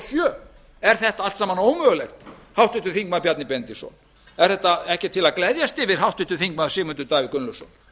sjö er þetta allt saman ómögulegt háttvirtur þingmaður bjarni benediktsson er þetta ekki til að gleðjast yfir háttvirtur þingmaður sigmundur davíð gunnlaugsson